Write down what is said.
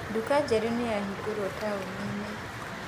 Nduka njerũ nĩyahingũrũo taũninĩ.